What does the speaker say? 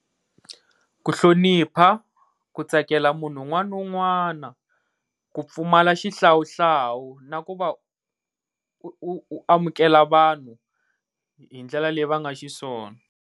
Hu hlonipha, ku tsakela munhu un'wana na un'wana, ku pfumala xihlawuhlawu na ku va u u amukela vanhu hi ndlela leyi va nga xiswona.